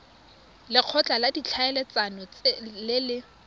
lekgotla la ditlhaeletsano le le